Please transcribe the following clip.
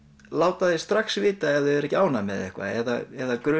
láta þig strax vita ef þeir eru ekki ánægðir með eitthvað eða